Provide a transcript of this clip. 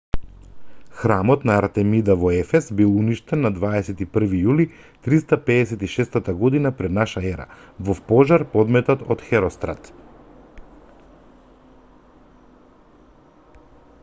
храмот на артемида во ефес бил уништен на 21-ви јули 356 г п.н.е. во пожар подметнат од херострат